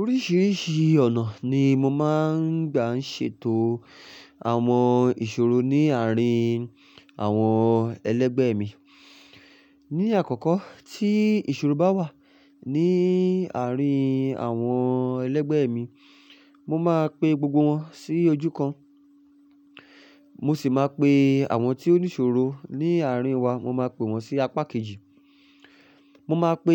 Oríṣìíríṣìí ọ̀nà ni mo máa ń gbà ń ṣètò àwọn ìṣòro ní àárín àwọn ẹlẹgbẹ́ mi. Ni àkọ́kọ́ tí ìṣòro bá wà ní àárín àwọn ẹlẹgbẹ́ mi, mo máa pe gbogbo wọn sí ojú kan. Mo sì máa pe àwọn tí ó ní ìṣòro ní àárín wa, mo máa pe wọ́n sí apá kejì. Mo máa pe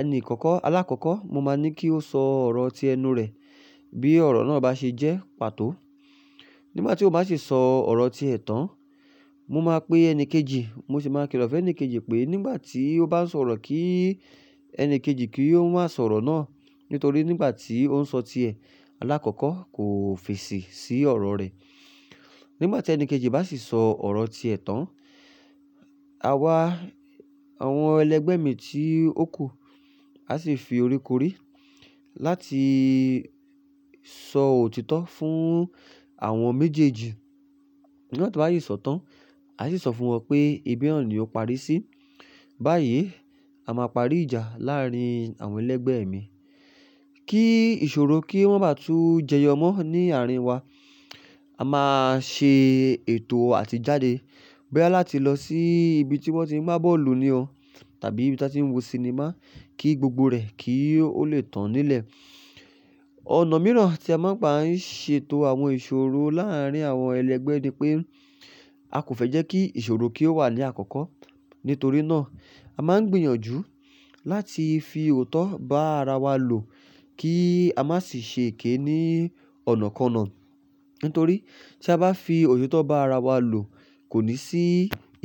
ẹni ìkọ̀kọ́, alákọ̀kọ́, mo máa ní kí ó sọ ọ̀rọ̀ tí ẹnu rẹ̀ bí ọ̀rọ̀ náà bá ṣe jẹ́ pàtó. Nígbà tí ó bá sì sọ ọ̀rọ̀ tí ẹ̀ tán, mo máa pè ẹni kejì, mo sì máa kí lọ́ ẹni kejì pé nígbà tí ó bá ń sọ̀rọ̀ kí ẹni kejì kí ó má sọ̀rọ̀ náà. Nítorí nígbà tí ó ń sọ ti ẹ̀, alákọ̀kọ́ kò fèsì sí ọ̀rọ̀ rẹ̀. Nígbà tí ẹni kejì bá sì sọ ọ̀rọ̀ tí ẹ̀ tán, àwa àwọn ẹlẹgbẹ́ mi tí ó kù a sì fi orí korí láti sọ òtítọ́ fún àwọn méjèèjì. Nígbà tí wọ́n bá sì sọ tán, a sì sọ fún wọn pé, "Ibí naa ni o parí sí. Báyìí, a máa parí ìjà láàárín àwọn ẹlẹgbẹ́ mi. Kí ìṣòro kí wọ́n o maa bá tún jẹyọ mọ́ ní àárín wa. A máa ṣe ètò àti jáde. Boya láti lọ sí ibi tí wọ́n ti ń gbá bọ́ọ̀lù ni o tàbí ibi tí a ti ń wo sinimá kí gbogbo rẹ̀ kí ó le tàn nílẹ̀." Ọ̀nà mìíràn tí a máa ń gbà ń ṣètò àwọn ìṣòro láàárín àwọn ẹlẹgbẹ́ ni pé, a kò fẹ́ jẹ́ kí ìṣòro kí ó wà ní àkọ́kọ́. Nítorí náà, a máa ń gbìyànjú láti fi òótọ́ bá ara wa lò kí a má sì ṣe èké ní ọ̀nàkona. Nítorí tí a bá fi òótọ́ bá ara wa lò, kò ní sí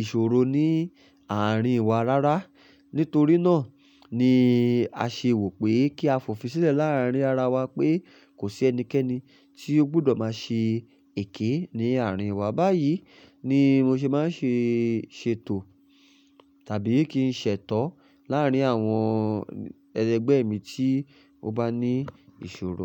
ìṣòro ní àárín wa rárá. Nítorí náà ni a ṣe wò pé kí a fòfin sílẹ̀ láàárín ara wa pé kò sí ẹnikẹ́ni tí ó gbọdọ̀ má ṣe èké ní àárín wa. Báyìí ni mo ṣe máa ń ṣe ṣètò tàbí kí n ṣètọ́ láàárín àwọn ẹlẹgbẹ́ mi tí ó bá ní ìṣòro.